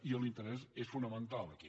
i l’interès és fonamental aquí